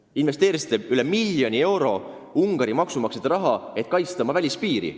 Te investeerisite sadu miljoneid eurosid Ungari maksumaksjate raha, et kaitsta oma piiri.